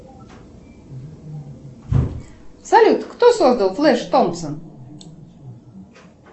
салют кто создал флэш томпсон